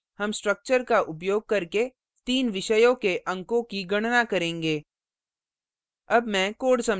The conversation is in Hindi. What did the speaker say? इस program में हम structure का उपयोग करके तीन विषयों के अंकों की गणना करेंगे